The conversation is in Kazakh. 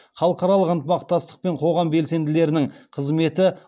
халықаралық ынтымақтастық пен қоғам белсенділерінің қызметі